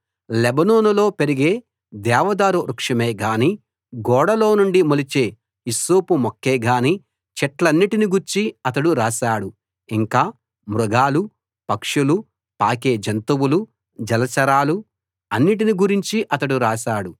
లెబానోనులో పెరిగే దేవదారు వృక్షమే గాని గోడలో నుండి మొలిచే హిస్సోపు మొక్కే గాని చెట్లన్నిటిని గూర్చీ అతడు రాశాడు ఇంకా మృగాలు పక్షులు పాకే జంతువులు జలచరాలు అన్నిటిని గురించీ అతడు రాశాడు